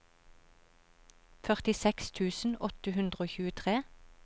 førtiseks tusen åtte hundre og tjuetre